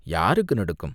யாருக்கு நடுக்கம்?